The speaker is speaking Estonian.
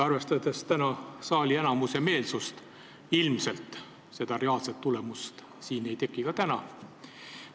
Arvestades saali enamuse meelsust, ilmselt seda tulemust siin ei teki ka täna.